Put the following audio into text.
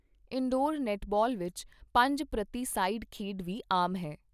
Indoor netball ਵਿੱਚ ਪੰਜ ਪ੍ਰਤੀ ਸਾਈਡ ਖੇਡ ਵੀ ਆਮ ਹੈ।